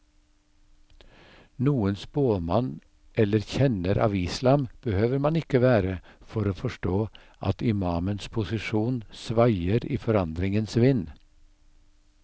Noen spåmann eller kjenner av islam behøver man ikke være for å forstå at imamens posisjon svaier i forandringens vind.